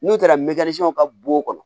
N'u taara ka bo kɔnɔ